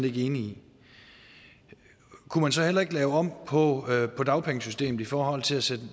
ikke enig i kunne man så heller ikke lave om på på dagpengesystemet i forhold til at sætte det